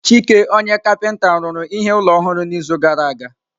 Chike ọnye kapinta rụrụ ihe ụlọ ọhụrụ n'izu gara aga.